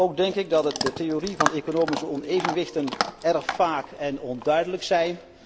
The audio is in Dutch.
Ook denk ik dat de theorie van economische onevenwichten erg vaag en onduidelijk is.